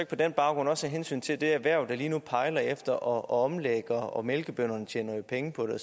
på den baggrund og også af hensyn til det erhverv der lige nu pejler efter at omlægge og mælkebønderne tjener penge på det og